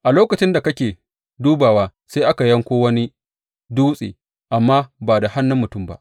A lokacin da kake dubawa, sai aka yanko wani dutse, amma ba da hannun mutum ba.